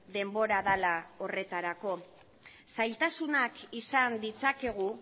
denbora dela horretarako zailtasunak izan ditzakegu